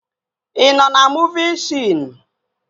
Ị nọ na muuvi sion?